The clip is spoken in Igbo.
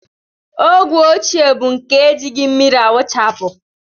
Ogwe ochie bụ nke e jighị mmiri awụchapụ